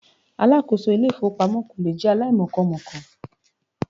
Alákòóso Ilé-ìfowópamọ́ kò lè jẹ́ aláìmọkọmọ̀ọ́kà.